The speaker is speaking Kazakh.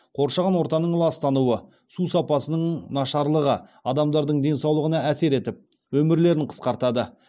қоршаған ортаның ластануы су сапасының нашарлығы адамдардың денсаулығына әсер етіп өмірлерін қысқартады